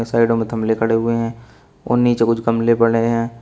और साइडों में थमले खड़े हुए हैं और नीचे कुछ गमले पड़े हैं।